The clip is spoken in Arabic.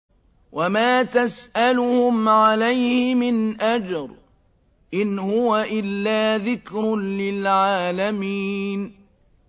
وَمَا تَسْأَلُهُمْ عَلَيْهِ مِنْ أَجْرٍ ۚ إِنْ هُوَ إِلَّا ذِكْرٌ لِّلْعَالَمِينَ